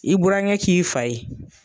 I burankɛ k'i fa ye.